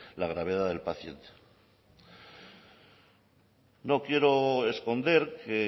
la gravedad del paciente no quiero esconder que